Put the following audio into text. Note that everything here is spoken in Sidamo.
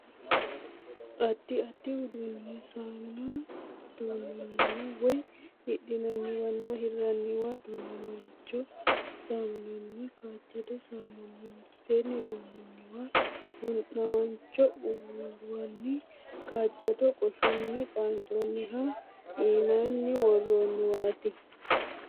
Addi addi uduunnu saamuna duunnooniwa woy hidhinnanniwanna hirranniwa, du'namaacho saamunanna kaajjado saamuna mitteenni duunnoonniwa, du'namaancho uullaanni kaajjado qoshunni xaaxaminoha immaanni worroonniwaati.